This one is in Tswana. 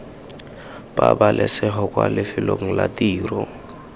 pabalesego kwa lefelong la tiro